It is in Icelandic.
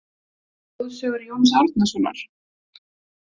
Þjóðsögur Jóns Árnasonar?